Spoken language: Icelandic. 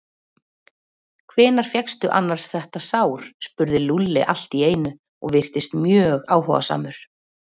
Hvenær fékkstu annars þetta sár? spurði Lúlli allt í einu og virtist mjög áhugasamur.